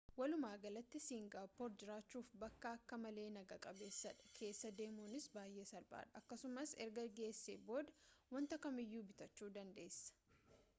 walumaagalatti singaappoor jiraachuuf bakka akka malee naga qabeessadha keessa deemuunis baay'ee salphaadha akkasumas erga geessee booda wanta kamiyyuu bitachuu dandeessa